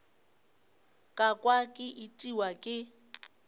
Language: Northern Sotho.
ka kwa ke itiwa ke